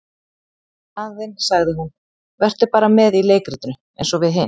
Í staðinn sagði hún:- Vertu bara með í leikritinu eins og við hin.